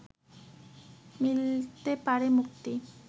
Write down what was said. মিলতে পারে মুক্তি